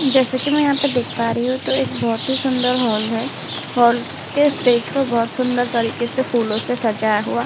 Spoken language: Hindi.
जैसे की मै यहाँ पे देख पा रही हूँ तो एक बहुत ही सुंदर हॉल है। हॉल के स्टेज को बहुत सुंदर तरीके से फूलों से सजाया हुआ --